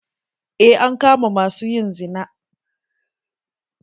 Eh, an kama ma su yin zina.